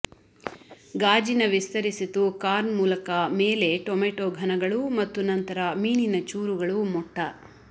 ಗಾಜಿನ ವಿಸ್ತರಿಸಿತು ಕಾರ್ನ್ ಮೂಲಕ ಮೇಲೆ ಟೊಮೆಟೊ ಘನಗಳು ಮತ್ತು ನಂತರ ಮೀನಿನ ಚೂರುಗಳು ಮೊಟ್ಟ